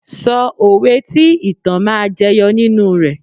Sọ òwe tí ìtàn máa jẹyọ nínú rẹ.